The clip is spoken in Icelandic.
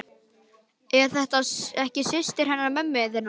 Er þetta ekki systir hennar mömmu þinnar?